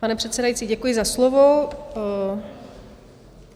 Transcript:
Pane předsedající, děkuji za slovo.